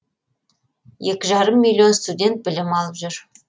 екі жарым миллион студент білім алып жүр